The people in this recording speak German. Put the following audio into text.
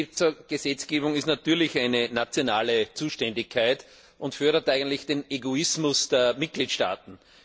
Finanzgesetzgebung ist natürlich eine nationale Zuständigkeit und fördert eigentlich den Egoismus der Mitgliedstaaten.